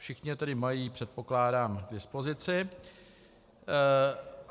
Všichni je tedy mají, předpokládám, k dispozici.